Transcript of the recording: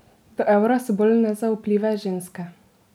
Do evra so bolj nezaupljive ženske.